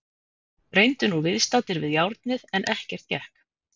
Reyndu nú viðstaddir við járnið en ekkert gekk.